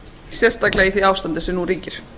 sérstaklega í því ástandi sem nú ríkir